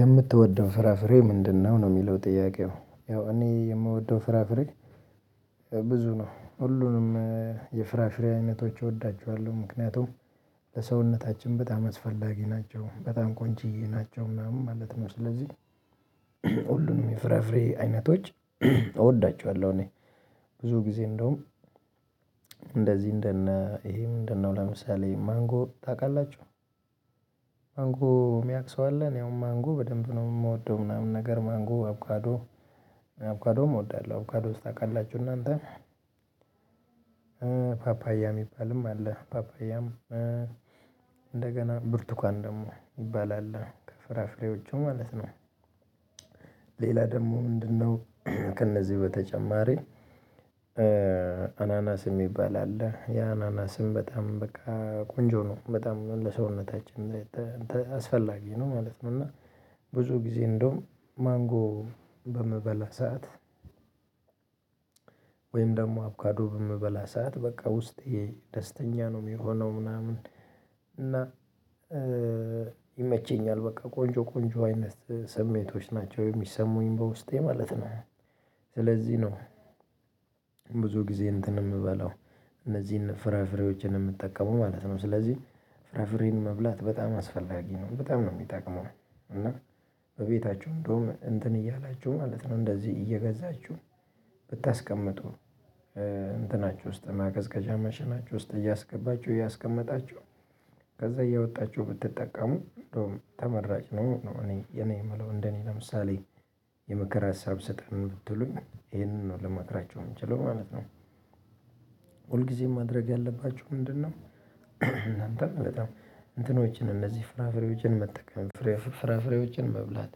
የምትወደው ፍራፍሬ ምንድነው? ነው የሚለው ጥያቄው ያው እኔ የምወደው ፍራፍሬ ብዙ ነው ሁሉንም የፍራፍሬ አይነቶች እወዳቸዋለሁ። ምክንያቱም ለሰውነታችን በጣም አስፈላጊ ናቸው በጣም ቆንጅዬ ናቸው ምናምን ማለት ነው። ስለዚህ ሁሉንም የፍራፍሬ አይነቶች እወዳቸዋለሁ። እኔ ብዙ ጊዜ እንደውም እንደዚህ እንደነ ይሄ ምንድነው ለምሳሌ ማንጎ ታውቃላችሁ? ማንጎ የሚያውቅ ሰው አለ እኔ አሁን ማንጎ በደንብ ነው የምወደው ምናምን ነገር ማንጎ አቡካዶ አቡካዶ እወዳለሁ። አቡካዶስ ታውቃላችሁ እናንተ ፓፓያ የሚባልም አለ። ፓፓያም ብርቱካን ደግሞ ይባላል ከፍራፍሬዎቹ ማለት ነው። ሌላ ደግሞ ምንድነው? ከእነዚህ በተጨማሪ አናናስ የሚባል አለ ያ አናናስም በጣም በቃ ቆንጆ ነው በጣም ለሰውነታችን አስፈላጊ ነው ማለት ነው። እና ብዙ ጊዜ እንደውም ማንጎ በምበላ ሰዓት ደግሞ አቡካዶ በምበላ ሰዓት በቃ ውስጤ ደስተኛ ነው የሚሆነው ምናምን ይመቸኛል በቃ ቆንጆ ቆንጆ አይነት ስሜቶች ናቸው የሚሰሙኝ በውስጤ ማለት ነው። ስለዚህ ነው። ብዙ ጊዜ እንትን የምበላው እነዚህን ፍራፍሬዎችን የምጠቀሙ ማለት ነው። ስለዚህ ፍራፍሬን መብላት በጣም አስፈላጊ ነው በጣም ነው የሚጠቅመው። እና በቤታችሁ እንደውም እንትን እያላችሁ ማለት ነው እንደዚህ እየገዛችሁ ብታስቀምጡ እንትናች ውስጥ ማቀዝቀዣ ማሽናቹህ ውስጥ እያስገባቸው እያስቀመጣቸው ከዛ እያወጣችሁ ብትጠቀሙ እንደውም ተመራጭ ነኝ እኔ እኔ የምለው እንደኔ ለምሳሌ የምከር ሀሳብ ስጠን ብትሉኝ ይሄንን ነው ለማክራቹ የምችለው ማለት ነው። ሁልጊዜም ማድረግ ያለባችሁ ምንድነው? እናንተም በጣም እንትኖችን እነዚህ ፍራፍሬዎችን መጠቀም ፍራፍሬዎችን መብላት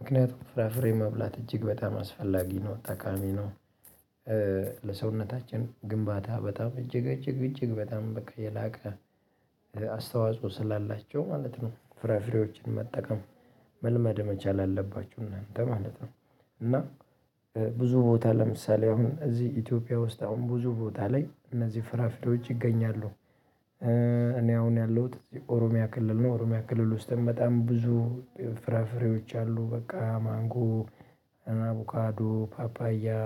ምክንያቱም ፍራፍሬ መብላት እጅግ በጣም አስፈላጊ ነው ጠቃሚ ነው። ለሰውነታችን ግንባታ በጣም እጅግ እጅግ እጅግ በጣም በቃ የላቀ አስተዋጽኦ ስላላቸው ማለት ነው ፍራፍሬዎችን መጠቀም መልመድ መቻል አለባቹ እናንተ ማለት ነው። እና ብዙ ቦታ ለምሳሌ አሁን እዚህ ኢትዮጵያ ውስጥ አሁን ብዙ ቦታ ላይ እነዚህ ፍራፍሬዎች ይገኛሉ። እኔ አሁን ያለሁት እዚህ ኦሮሚያ ክልል ነው። ኦሮሚያ ክልል ውስጥም በጣም ብዙ ፍራፍሬዎች አሉ በቃ ማንጎ አቡካዶ ፓፓያ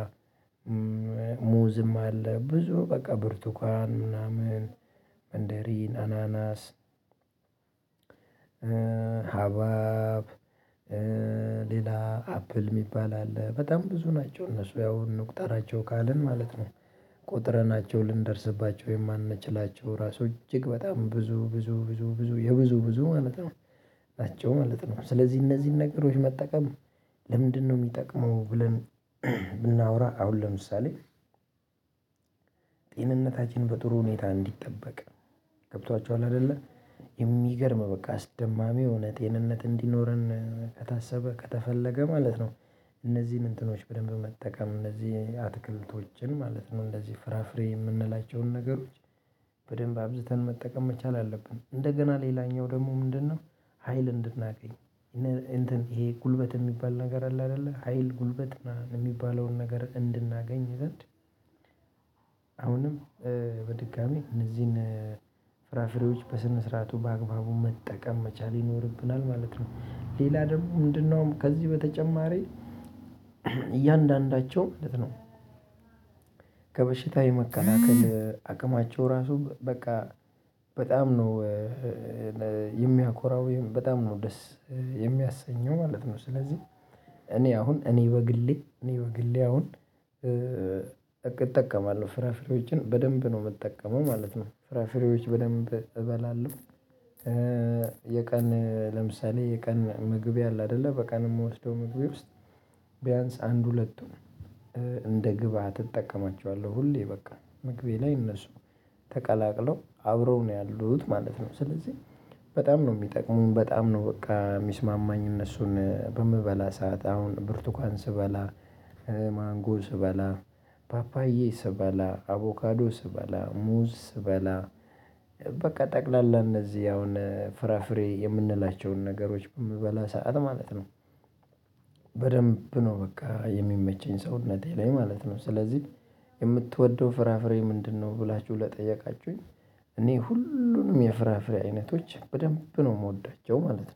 አለ ብዙ በቃ ብርቱካን ምናምን መንደሪን አናናስ ሀባብ ሌላ አፕል የሚባል አለ በጣም ብዙ ናቸው እነሱ ያው እንቁጠራቸው ካልን ማለት ነው። ቆጥረናቸው ልንደርስባቸው የማንችላቸው ራሱ እጅግ በጣም ብዙ ብዙ ብዙ ብዙ የብዙ ብዙ ማለት ነው። ናቸው ማለት ነው። ስለዚህ እነዚህን ነገሮች መጠቀም ለምንድነው የሚጠቅመው? ብለን ብናወራ አሁን ለምሳሌ ጤንነታችን በጥሩ ሁኔታ እንዲጠበቅ ገብቷችኋል አይደለ የሚገርም በቃ አስደማሚ የሆነ ጤንነት እንዲኖረን ከታሰበ ከተፈለገ ማለት ነው። እነዚህን እንትኖች በደንብ መጠቀም እነዚህ አትክልቶችን ማለት ነው እንደዚህ ፍራፍሬ የምንላቸውን ነገሮች በደንብ አብዝተን መጠቀም መቻል አለብን። እንደገና ሌላኛው ደግሞ ምንድነው? ሀይል እንድናገኝ ይሄ ጉልበት የሚባል ነገር አለ አይደለ ሀይል ጉልበት የሚባለውን ነገር እንድናገኝ ዘንድ አሁንም በድጋሜ እነዚህን ፍራፍሬዎች በስነ ስርዓቱ በአግባቡ መጠቀም መቻል ይኖርብናል ማለት ነው። ሌላ ደግሞ ምንድነው? ከዚህ በተጨማሪ እያንዳንዳቸው ማለት ነው ከበሽታ የመከላከል አቅማቸው ራሱ በቃ በጣም ነው የሚያኮራው በጣም ነው ደስ የሚያሰኘው ማለት ነው። ስለዚህ እኔ አሁን እኔ በግሌ እኔ በግሌ አሁን እጠቀማለሁ ፍራፍሬዎችን በደንብ ነው የምጠቀመው ማለት ነው። ፍራፍሬዎች በደንብ እበላለሁ። የቀን ለምሳሌ የቀን ምግቤ አለ አይደለ በቀን የምወስደው ምግቤ ውስጥ ቢያንስ አንድ ሁለቱን እንደ ግብአት እጠቀማቸዋለሁ ሁሌ በቃ ምግቤ ላይ እነሱ ተቀላቅለው አብረው ነው ያሉት ማለት ነው። ስለዚህ በጣም ነው የሚጠቅሙን በጣም ነው በቃ የሚስማማኝ እነሱን በምበላ ሰዓት አሁን ብርቱካን ስበላ ማንጎ ስበላ ፓፓዬ ስበላ አቡካዶ ስበላ ሙዝ ስበላ በቃ ጠቅላላ እነዚህ አሁን ፍራፍሬ የምንላቸውን ነገሮች በምበላ ሰዓት ማለት ነው። በደንብ ነው በቃ የሚመቸኝ ሰውነቴ ላይ ማለት ነው። ስለዚህ የምትወደው ፍራፍሬ ምንድነው? ብላችሁ ለጠየቃችሁኝ እኔ ሁሉንም የፍራፍሬ አይነቶች በደንብ ነው የምወዳቸው ማለት ነው